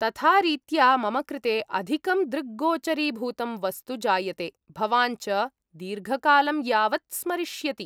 तथा रीत्या मम कृते अधिकं दृग्गोचरीभूतं वस्तु जायते, भवान् च दीर्घकालं यावत् स्मरिष्यति ।